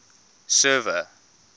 server